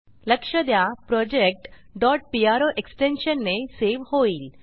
लक्ष द्या project pro extension ने सेव्ह होईल